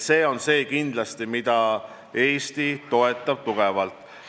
Seda suunda kindlasti Eesti toetab tugevalt.